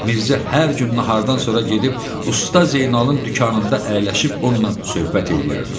Mirzə hər gün nahardan sonra gedib Usta Zeynalın dükanında əyləşib onunla söhbət eləyərdi.